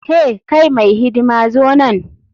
Hey! kai mai hidima zo nan.